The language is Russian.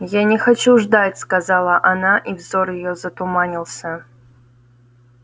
я не хочу ждать сказала она и взор её затуманился